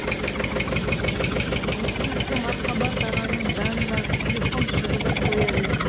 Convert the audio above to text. осы кезде мархабат ағаның жанындағы телефон шырылдап қоя берді